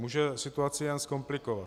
Může situaci jen zkomplikovat.